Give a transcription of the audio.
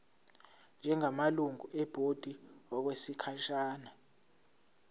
njengamalungu ebhodi okwesikhashana